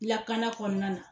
Lakana kɔnɔna na